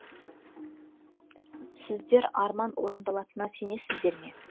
сіздер арман орындалатына сенесіздер ме